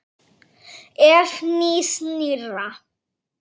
Ef. nýs- nýrra